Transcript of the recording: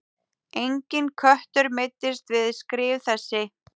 Enginn köttur meiddist við skrif þessi.